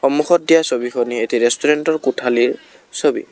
সন্মুখত দিয়া ছবিখনেই এটি ৰেষ্টোৰেন্টৰ কোঠালীৰ ছবি।